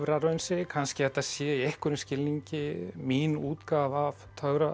töfraraunsæi kannski að þetta sé í einhverjum skilningi mín útgáfa af